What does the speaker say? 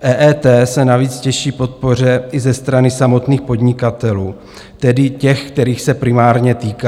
EET se navíc těší podpoře i ze strany samotných podnikatelů, tedy těch, kterých se primárně týká.